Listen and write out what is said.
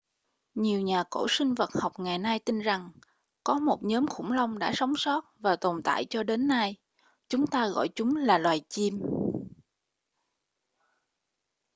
nhiều nhà cổ sinh vật học ngày nay tin rằng có một nhóm khủng long đã sống sót và còn tồn tại cho đến nay chúng ta gọi chúng là loài chim